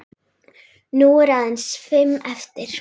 Nú eru aðeins fimm eftir.